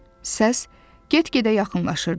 Səs get-gedə yaxınlaşırdı.